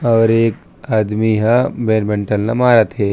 और एक आदमी हा बैडमिंटन ल मारत हे।